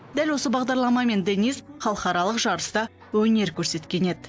дәл осы бағдарламамен денис халықаралық жарыста өнер көрсеткен еді